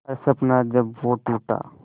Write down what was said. हर सपना जब वो टूटा